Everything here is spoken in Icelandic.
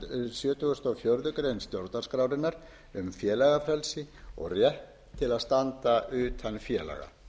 sjötugasta og fjórðu grein stjórnarskrárinnar um félagafrelsi og rétt til að standa utan félaga